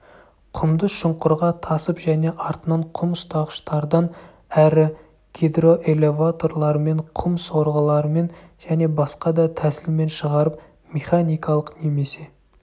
құмды шұңқырға тасып және артынан құм ұстағыштардан әрі гидроэлеваторлармен құм сорғылармен және басқа да тәсілмен шығарып механикалық немесе